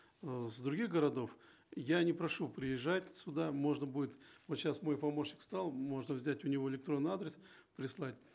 э с других городов я не прошу приезжать сюда можно будет вот сейчас мой помощник встал можно взять у него электронный адрес прислать